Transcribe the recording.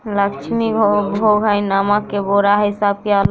लक्ष्मी भोग हेय नमक के --